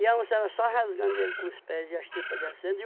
E a onça era só rasgando ele com os pés e as tripas descendo. E